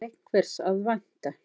Þaðan er einhvers að vænta.